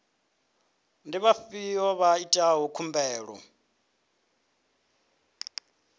ndi vhafhiyo vha itaho khumbelo